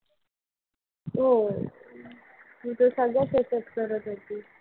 होय. तू तर सगळ्याच ह्याच्यात करत होती.